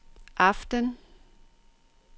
aften